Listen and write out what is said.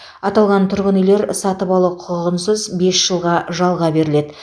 аталған тұрғын үйлер сатып алу құқығынсыз бес жылға жалға беріледі